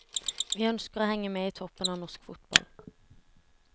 Vi ønsker å henge med i toppen av norsk fotball.